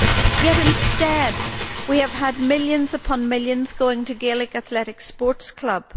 Yet instead we have had millions upon millions going to Gaelic Athletic Sports Club.